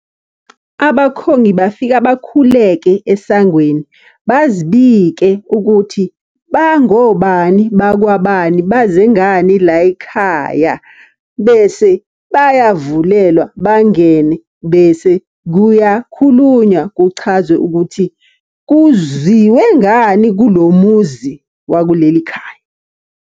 Abakhongi bafika bakhuleke esangweni, bazibike ukuthi, bangobani bakwabani, baze ngani la y'khaya. Bese bayavulelwa bangene, bese kuyakhulunywa kuchazwe ukuthi kuziwe ngani kulo muzi wakuleli khaya.